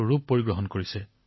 যোগে ইমান ডাঙৰ আকাৰ লাভ কৰিছে